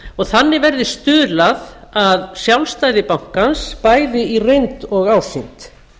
og þannig verði stuðlað að sjálfstæði bankans bæði í reynd og ásýnd